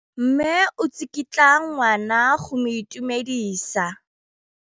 Mme o tsikitla ngwana go mo itumedisa.